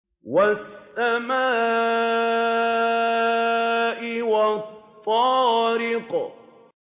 وَالسَّمَاءِ وَالطَّارِقِ